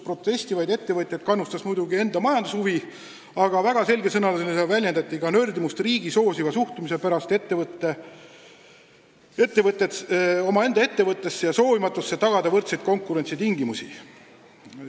Protestivaid ettevõtjaid on kannustanud muidugi nende enda majandushuvi, aga väga selge sõnaga on väljendatud ka nördimust riigi soosiva suhtumise pärast omaenda ettevõttesse ja soovimatusse tagada võrdseid konkurentsitingimusi.